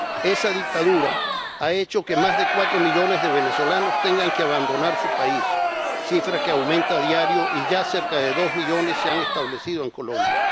Esa dictadura ha hecho que más de cuatro millones de venezolanos tengan que abandonar su país, cifra que aumenta a diario, y ya cerca de dos millones se han establecido en Colombia.